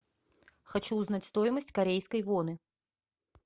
хочу узнать стоимость корейской воны